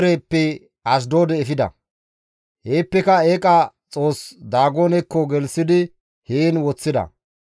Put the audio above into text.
Heeppeka eeqa xoos Daagonekko gelththidi heen woththida.